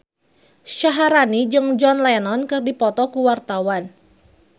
Syaharani jeung John Lennon keur dipoto ku wartawan